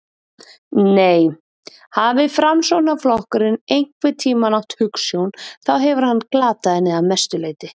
Nei, hafi Framsóknarflokkurinn einhvern tíma átt hugsjón þá hefur hann glatað henni að mestu leyti.